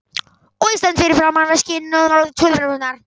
Og ég stend fyrir framan veskin og tuðrurnar.